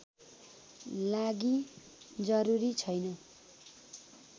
लागि जरूरी छैन